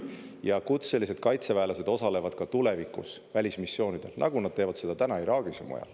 Ja kutselised kaitseväelased osalevad ka tulevikus välismissioonidel, nagu nad teevad seda täna Iraagis ja mujal.